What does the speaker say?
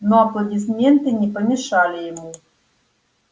но аплодисменты не помешали ему